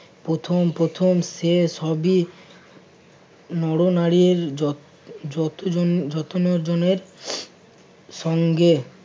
প্রথম প্রথম সে সবই নরনারীর যত~যতজনের~ যত ন জনের সঙ্গে